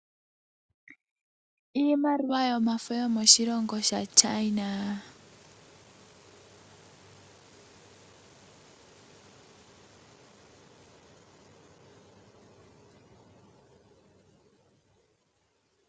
Iimaliwa yomafo yo moshilongo sha China.